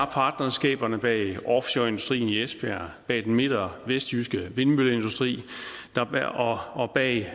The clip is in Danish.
partnerskaberne bag offshoreindustrien i esbjerg bag den midt og vestjyske vindmølleindustri og bag